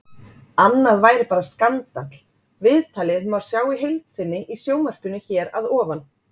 Annað væri bara skandall Viðtalið má sjá í heild sinni í sjónvarpinu hér að ofan.